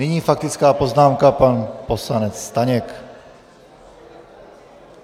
Nyní faktická poznámka, pan poslanec Staněk.